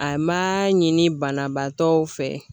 A ma ɲini banabaatɔw fɛ